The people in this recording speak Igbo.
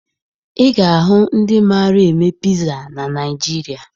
Ị ga-ahụ ndị mara eme piza na Naịjirịa